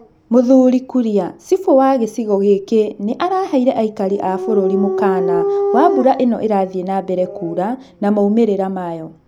Mũthuri Kuria, Cibũ wa gĩcigo gĩkĩ nĩ araheire aikari a bũrũri mũkaana wa mbura ĩno ĩrathiĩ nambere kuura na moimĩrira mayũ.